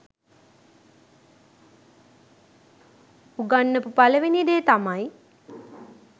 උගන්නපු පළවෙනි දේ තමයි